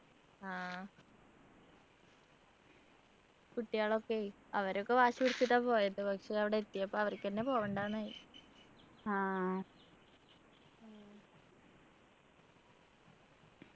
ആഹ് കുട്ടികളൊക്കെയേ അവരൊക്കെ വാശി പിടിച്ചിട്ടാ പോയത് പക്ഷെ അവിടെ എത്തിയപ്പോ അവർക്കെങ്ങനെ പോവണ്ടന്നായി